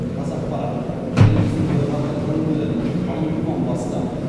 қазақпарат еліміздің бірқатар өңірлерін қалың тұман басты